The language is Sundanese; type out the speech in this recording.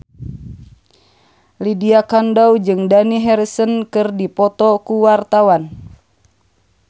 Lydia Kandou jeung Dani Harrison keur dipoto ku wartawan